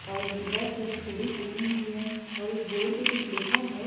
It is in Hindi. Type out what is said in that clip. और रेड कलर की चूड़ी पहनी हुई है और उस बोर्ड पर कुछ लिखा है।